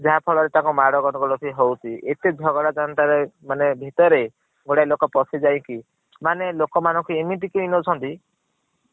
ଯାହା ଫଳ ରେ ତାଙ୍କର ମାଡ଼ ଗନ୍ଦଗୋଲ ବି ହୌକଛି ଏତେ ଝଗଡା ମାନେ ଭିତରେ ଗୋଟେ ଲୋକ ପସୀ ଜୈକୀ ମାନେ ଲୋକ ମାନ ଙ୍କୁ ଏମେଇତି କେଂ ଉ ଛନ୍ତି